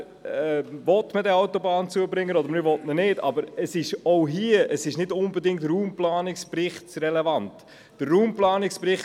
Entweder will man diesen Autobahnzubringer oder man will ihn nicht, aber das ist nicht unbedingt relevant für den Raumplanungsbericht.